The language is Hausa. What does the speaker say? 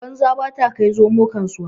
Banza ba ta kai zomo kasuwa.